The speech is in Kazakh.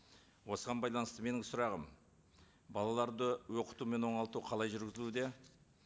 осыған байланысты менің сұрағым балаларды оқыту мен оңалту қалай жүргізілуде